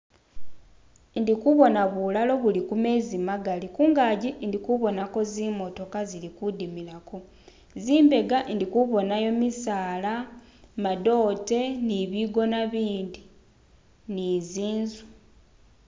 Indi kubona bulalo buli kumezi magali, kungaji ndi kubonako zimotoka zili kudimilako. Zimbega indi kubonayo jimisaala, gamadote ni bigona ibindi ni zinzu.